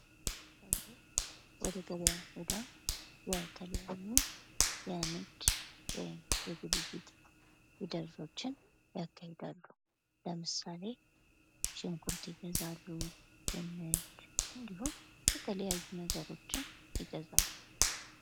ሰወች ወደ ገበያ ሂደው የተለያዩ የንግድ ውይም የግብይት ሂደቶችን ያካሂዳሉ። ለምሳሌ ሽንኩርት ይገዛሉ። ድንች የተለያዩ ነገሮችን ይገዛሉ።